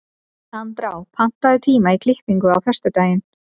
Andrá, pantaðu tíma í klippingu á föstudaginn.